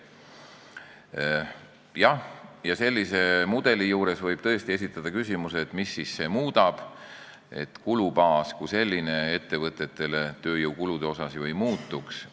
Jah, sellise mudeli kohta võib tõesti esitada küsimuse, et mis see muudaks, ettevõtete tööjõukulude kulubaas kui selline ju ei muutuks.